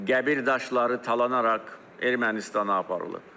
qəbir daşları talanaraq Ermənistana aparılıb.